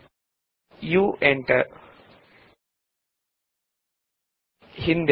u ಒತ್ತಿ enter ಒತ್ತಿ